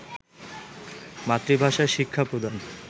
মাতৃভাষায় শিক্ষা প্রদান